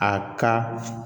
A ka